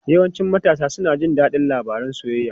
Yawancin matasa suna jin daɗin labarun soyayya.